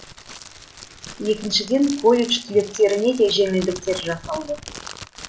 екіншіден колледж түлектеріне де жеңілдіктер жасалды